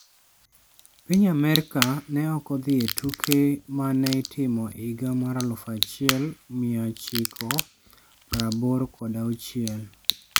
piny Amerka ne ok odhi e tuke ma ne itimo e higa mar 1986.